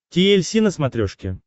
ти эль си на смотрешке